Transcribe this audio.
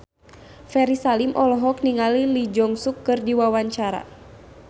Ferry Salim olohok ningali Lee Jeong Suk keur diwawancara